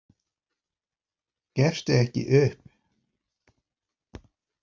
Gefstu ekki upp.